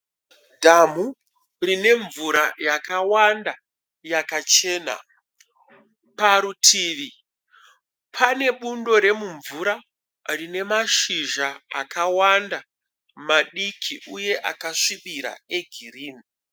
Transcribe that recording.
Dhamu rine mvura yakawanda yakachena. Parutivi pane bundo remumvura rine mashizha akawanda madiki uye akasvibira egirinhi